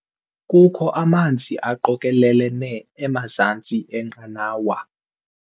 Kukho amanzi aqokelelene emazantsi enqanawa.